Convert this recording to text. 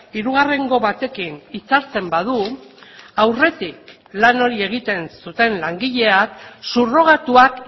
hirugarrengo batekin hitzartzen badu aurretik lan hori egiten zuten langileak subrogatuak